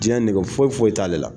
Jiɲɛ nege foyi foyi t'ale la.